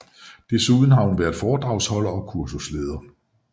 Desuden har hun været foredragsholder og kursusleder